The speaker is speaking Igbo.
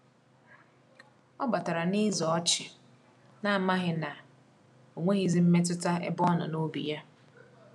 Ọ batara n'eze ọchị, na-amaghị na onweghizi mmetụta n'ebe ọnọ n’obi ya.